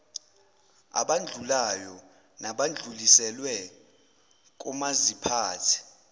abandlululayo nadluliselwe komaziphathe